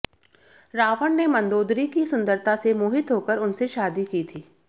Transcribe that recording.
रावण ने मंदोदरी की सुंदरता से मोहित होकर उनसे शादी की थी